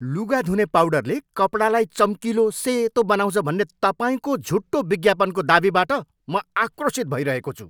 लुगा धुने पाउडरले कपडालाई चम्किलो सेतो बनाउँछ भन्ने तपाईँको झुटो विज्ञापनको दावीबाट म आक्रोशित भइरहेको छु।